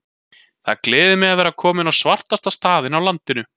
Það gleður mig að vera kominn á svartasta staðinn á landinu.